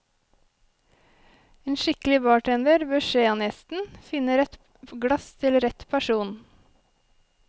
En skikkelig bartender bør se an gjesten, finne rett glass til rett person.